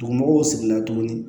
Dugumɔgɔw sigila tuguni